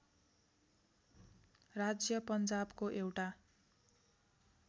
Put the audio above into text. राज्य पन्जाबको एउटा